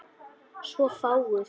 Svo fáguð.